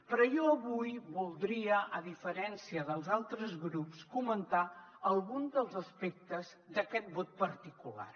però jo avui voldria a diferència dels altres grups comentar algun dels aspectes d’aquest vot particular